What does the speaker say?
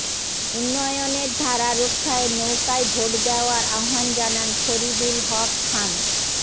উন্নয়নের ধারা রক্ষায় নৌকায় ভোট দেওয়ার আহ্বান জানান ফরিদুল হক খান